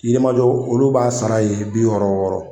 Yirimajɔ olu b'a sara ye bi wɔɔrɔ wɔɔrɔ.